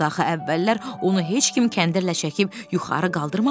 Axı əvvəllər onu heç kim kəndirlə çəkib yuxarı qaldırmamışdı.